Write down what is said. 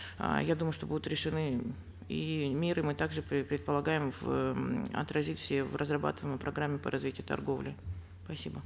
э я думаю что будут решены и меры мы также предполагаем эээ отразить все в разрабатываемой программе по развитию торговли спасибо